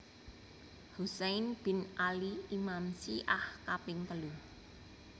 Husain bin Ali Imam Syi ah kaping telu